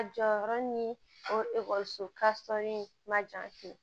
A jɔyɔrɔ ni o ekɔliso ma jan